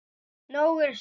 Nóg er samt.